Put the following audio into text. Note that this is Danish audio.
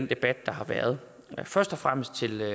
debat der har været først og fremmest vil jeg